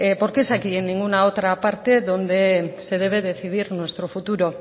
porque es aquí en ninguna otra parte donde se debe decidir nuestro futuro